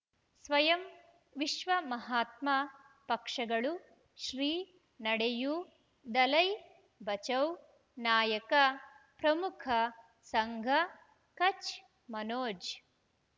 ಸ್ವಯಂ ವಿಶ್ವ ಮಹಾತ್ಮ ಪಕ್ಷಗಳು ಶ್ರೀ ನಡೆಯೂ ದಲೈ ಬಚೌ ನಾಯಕ ಪ್ರಮುಖ ಸಂಘ ಕಚ್ ಮನೋಜ್